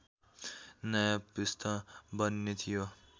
नयाँ पृष्ठ बन्ने थियो